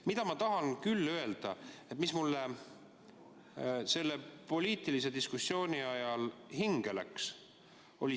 Küll aga tahan ma öelda, mis mulle selle poliitilise diskussiooni ajal hinge läks.